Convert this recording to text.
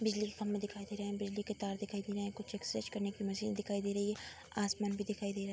बिजली के खंभे दिखाई दे रहे हैं। बिजली के तार दिखाई दे रहे हैं। कुछ एक्सरसाइज करने की मशीन दिखाई दे रही है। आसमान भी दिखाई दे रहा है।